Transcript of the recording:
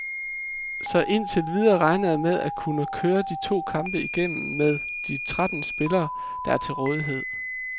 Så indtil videre regner jeg med at kunne køre de to kampe igennem med de tretten spillere, der er til rådighed.